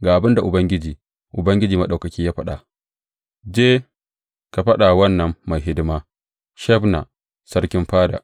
Ga abin da Ubangiji, Ubangiji Maɗaukaki, ya faɗa, Je, ka faɗa wa wannan mai hidima, Shebna, sarkin fada.